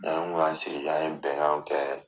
N'an kun y'an sigi k'an ye bɛnkanw kɛ